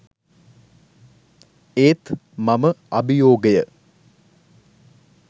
ඒත් මම අභියෝගය